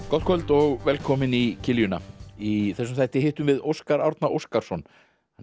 gott kvöld og velkomin í í þessum þætti hittum við Óskar Árna Óskarsson hann